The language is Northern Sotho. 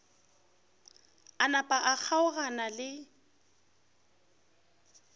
a napa a kgaogana le